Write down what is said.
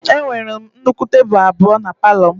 Enwere m nnukwu tebụl abụọ palọ m